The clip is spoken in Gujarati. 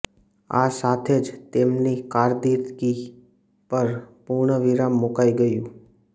આ સાથે જ તેમની કારકિર્દી પર પૂર્ણવિરામ મૂકાઈ ગયું